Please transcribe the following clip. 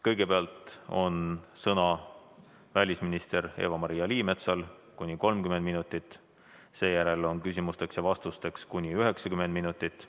Kõigepealt on sõna välisminister Eva-Maria Liimetsal, kuni 30 minutit, seejärel on küsimusteks ja vastusteks aega kuni 90 minutit.